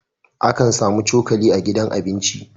Akan samu cokali a gidan abinci